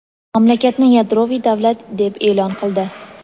mamlakatni yadroviy davlat deb e’lon qildi.